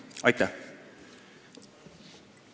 Aitäh!